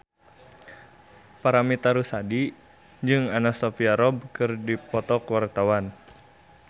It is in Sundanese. Paramitha Rusady jeung Anna Sophia Robb keur dipoto ku wartawan